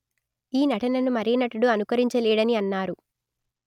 ఈ నటనను మరే నటుడు అనుకరించలేడని అన్నారు